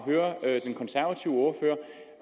høre den konservative ordfører